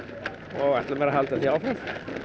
og ætla mér að halda því áfram